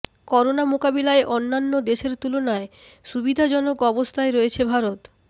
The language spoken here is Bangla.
করোনা মোকাবিলায় অন্যান্য দেশের তুলনায় সুবিধাজনক অবস্থায় রয়েছে ভারত